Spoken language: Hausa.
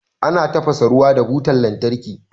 Ana tafasa ruwa da butan lantarki.